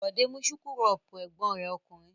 Bọ̀dé mú súkúrọ́bù ẹ̀gbọ́n rẹ̀ ọkùnrin.